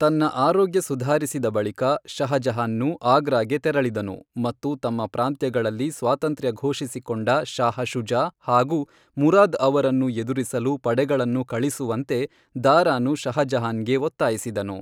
ತನ್ನ ಆರೋಗ್ಯ ಸುಧಾರಿಸಿದ ಬಳಿಕ, ಶಹ ಜಹಾನ್ನು ಆಗ್ರಾಗೆ ತೆರಳಿದನು ಮತ್ತು ತಮ್ಮ ಪ್ರಾಂತ್ಯಗಳಲ್ಲಿ ಸ್ವಾತಂತ್ರ್ಯ ಘೋಷಿಸಿಕೊಂಡ ಶಾಹ ಶುಜಾ ಹಾಗೂ ಮುರಾದ್ ಅವರನ್ನು ಎದುರಿಸಲು ಪಡೆಗಳನ್ನು ಕಳಿಸುವಂತೆ ದಾರಾನು ಶಹ ಜಹಾನ್ಗೆ ಒತ್ತಾಯಿಸಿದನು.